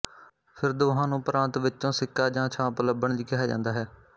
ਫਿਰ ਦੋਹਾਂ ਨੂੰ ਪਰਾਂਤ ਵਿੱਚੋਂ ਸਿੱਕਾ ਜਾਂ ਛਾਂਪ ਲੱਭਣ ਲਈ ਕਿਹਾ ਜਾਂਦਾ ਹੈ